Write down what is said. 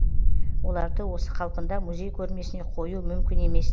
оларды осы қалпында музей көрмесіне қою мүмкін емес